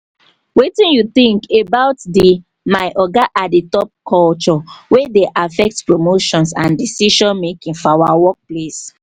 wetin you think about di 'my oga at the top' culture wey dey affect promotions and decision-making for our workplace?